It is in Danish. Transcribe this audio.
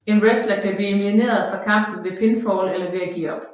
En wrestler kan blive elimineret fra kampen ved pinfall eller ved at give op